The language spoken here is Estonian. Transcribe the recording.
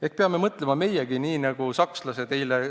Ehk peame meiegi mõtlema nii, nagu mõtlevad sakslased?